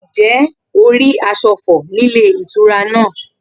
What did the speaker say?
Ǹjé̩ o rí as̩o̩ re̩ fò̩ nílé ìtura náà?